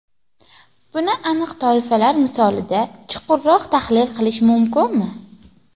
Buni aniq toifalar misolida chuqurroq tahlil qilish mumkinmi?